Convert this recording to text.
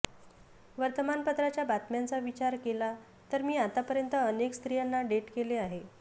वर्तमानपत्राच्या बातम्यांचा विचार केला तर मी आतापर्यंत अनेक स्त्रियांना डेट केले आहे